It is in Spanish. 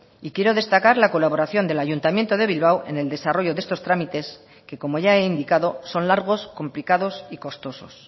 y quiero destacar la colaboración del ayuntamiento de bilbao en el desarrollo de estos trámites que como ya he indicado son largos complicados y costosos